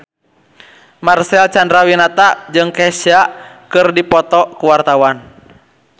Marcel Chandrawinata jeung Kesha keur dipoto ku wartawan